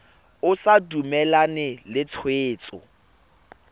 o sa dumalane le tshwetso